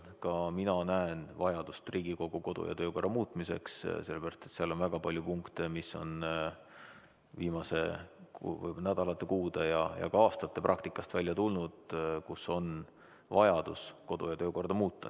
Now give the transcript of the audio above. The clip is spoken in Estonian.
Ka mina näen vajadust Riigikogu kodu- ja töökorra muutmiseks, sellepärast et seal on väga palju punkte, mis on viimaste nädalate, kuude ja aastate praktikast välja tulnud, kus on vajadus kodu- ja töökorda muuta.